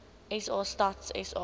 sa stats sa